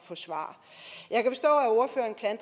få svar